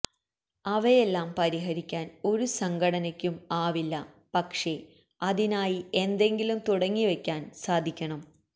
അവയെല്ലാം പരിഹരിക്കാന് ഒരു സംഘടനയ്ക്കും ആവില്ല പക്ഷെ അതിനായി എന്തെങ്കിലും തുടങ്ങിവയ്ക്കാന് സാധിക്കണം